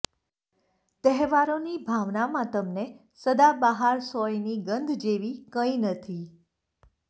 તહેવારોની ભાવનામાં તમને સદાબહાર સોયની ગંધ જેવી કંઈ નથી